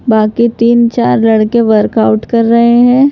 बाकी तीन चार लड़के वर्क आउट कर रहे हैं।